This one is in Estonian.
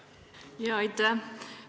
Aitäh!